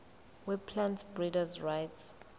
weplant breeders rights